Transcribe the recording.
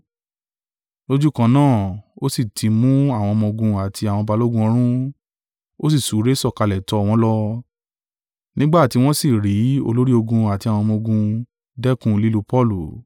Lójúkan náà, ó sì ti mú àwọn ọmọ-ogun àti àwọn balógun ọ̀rún, ó sì súré sọ̀kalẹ̀ tọ̀ wọ́n lọ; nígbà tí wọ́n sì rí í olórí ogun àti àwọn ọmọ-ogun dẹ́kun lílù Paulu.